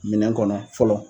Minɛn kɔnɔ fɔlɔ.